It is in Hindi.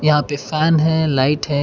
यहां पे फैन है लाइट है।